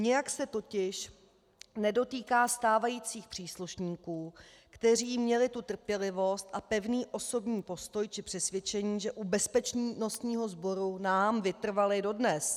Nijak se totiž nedotýká stávajících příslušníků, kteří měli tu trpělivost a pevný osobní postoj či přesvědčení, že u bezpečnostního sboru nám vytrvali dodnes.